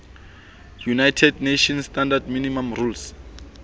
united nations standard minimum rules